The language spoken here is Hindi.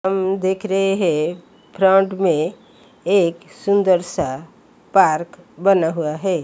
हम देख रहे हैं फ्रंट में एक सुंदर सा पार्क बना हुआ है।